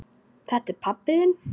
Þetta er pabbi þinn.